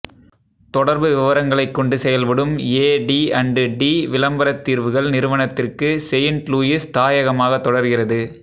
தொடர்பு விவரங்களைக் கொண்டு செயல்படும் ஏடி அண்டு டி விளம்பரத் தீர்வுகள் நிறுவனத்திற்கு செயின்ட் லூயிஸ் தாயகமாகத் தொடர்கிறது